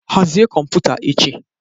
Hazie kọmputa echi